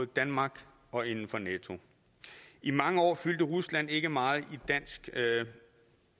danmark og inden for nato i mange år fyldte rusland ikke meget